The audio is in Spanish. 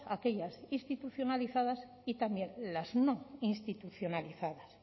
aquellas institucionalizadas y también las no institucionalizadas